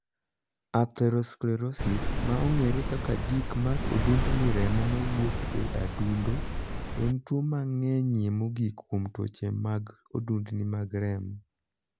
Atherosclerosis', ma ong'ere kaka jik mar odundni remo ma wuok e adundo, en tuo mang'enyie mogik kuom tuoche mag odundni mag remo.